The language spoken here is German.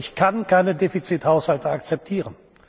Ich kann keine Defizithaushalte akzeptieren.